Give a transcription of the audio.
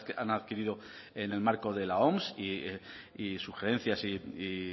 han adquirido en el marco de la oms y sugerencias y